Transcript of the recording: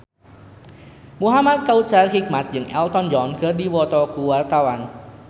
Muhamad Kautsar Hikmat jeung Elton John keur dipoto ku wartawan